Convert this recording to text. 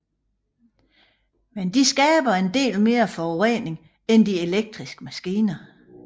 Men de skaber en del mere forurening end de elektriske maskiner